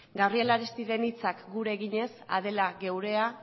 gabriel aristiren hitzak gure eginez adela geurea